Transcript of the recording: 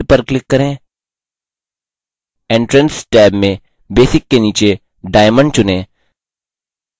entrance tab में basic के नीचे diamond चुनें